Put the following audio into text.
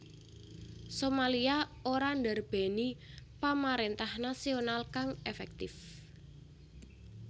Somalia ora ndarbèni pamaréntah nasional kang efektif